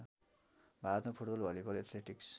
भारतमा football volleyball athletics